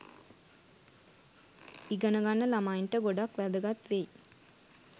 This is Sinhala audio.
ඉගෙන ගන්න ළමයින්ට ගොඩක් වැදගත් වෙයි.